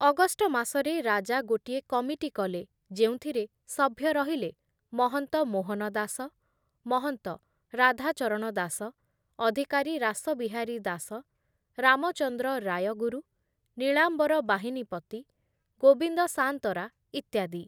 August ମାସରେ ରାଜା ଗୋଟିଏ କମିଟି କଲେ ଯେଉଁଥିରେ ସଭ୍ୟ ରହିଲେ ମହନ୍ତ ମୋହନ ଦାସ, ମହନ୍ତ ରାଧାଚରଣ ଦାସ, ଅଧିକାରୀ ରାସବିହାରୀ ଦାସ, ରାମଚନ୍ଦ୍ର ରାୟଗୁରୁ, ନୀଳାମ୍ବର ବାହିନୀପତି, ଗୋବିନ୍ଦ ସାନ୍ତରା ଇତ୍ୟାଦି ।